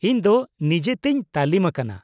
ᱼᱤᱧ ᱫᱚ ᱱᱤᱡᱮᱛᱮᱧ ᱛᱟᱹᱞᱤᱢ ᱟᱠᱟᱱᱟ᱾